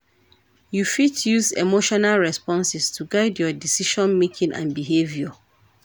You fit use emotional responses to guide your decision-making and behaviour.